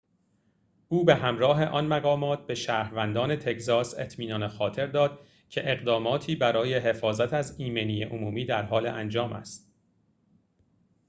او به همراه آن مقامات به شهروندان تگزاس اطمینان خاطر داد که اقداماتی برای حفاظت از ایمنی عمومی در حال انجام است